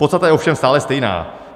Podstata je ovšem stále stejná.